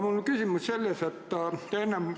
Mul on selline küsimus.